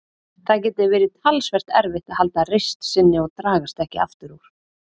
Það geti verið talsvert erfitt að halda reisn sinni og dragast ekki aftur úr.